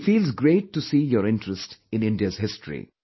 It feels great to see your interest in India's history